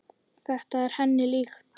Þetta var henni líkt.